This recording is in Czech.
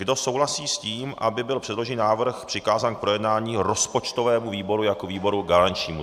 Kdo souhlasí s tím, aby byl předložený návrh přikázán k projednání rozpočtovému výboru jako výboru garančnímu?.